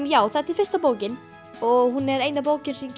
já þetta er fyrsta bókin og hún er eina bókin sem